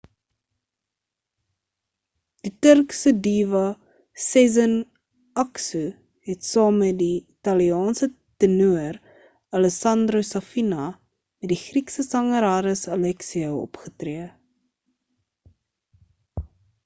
die turkse diva sezen aksu het saam metdie italiaanse tenoor alessandro safina met die griekse sanger haris alexiou opgetree